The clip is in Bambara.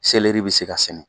Seleri bɛ se ka sɛnɛ